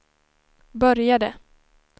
började